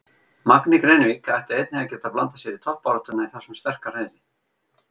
Magni Grenivík ætti einnig að geta blandað sér í toppbaráttuna í þessum sterka riðli.